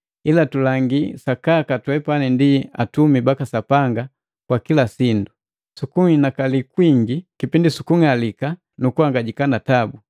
Ila tulangii sakaka twepani ndi atumi baka Sapanga kwa kila sindu, sukunhinakali kwingi kipindi sukung'alika nu kuhangajika na tabu.